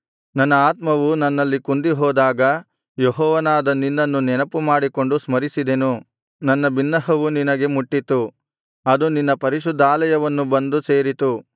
ನನ್ನ ಆತ್ಮವು ನನ್ನಲ್ಲಿ ಕುಂದಿಹೋದಾಗ ಯೆಹೋವನಾದ ನಿನ್ನನ್ನು ನೆನಪು ಮಾಡಿಕೊಂಡು ಸ್ಮರಿಸಿದೆನು ನನ್ನ ಬಿನ್ನಹವು ನಿನಗೆ ಮುಟ್ಟಿತು ಅದು ನಿನ್ನ ಪರಿಶುದ್ಧಾಲಯವನ್ನು ಬಂದು ಸೇರಿತು